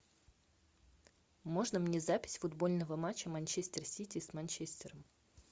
можно мне запись футбольного матча манчестер сити с манчестером